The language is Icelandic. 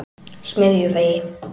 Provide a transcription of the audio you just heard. Smiðjuvegi